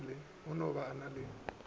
no ba o na le